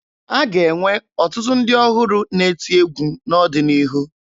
A ga-enwe ọtụtụ ndị ọhụrụ na-eti egwu n'ọdịnihu